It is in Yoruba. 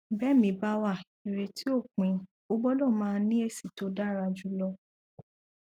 bẹmìí bá wà ìrètí ò pin o gbọdọ máa ní èsì tó dára jùlọ